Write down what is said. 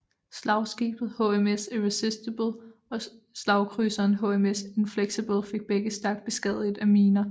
Slagskibet HMS Irresistible og slagkrydseren HMS Inflexible fik begge stærkt beskadiget af miner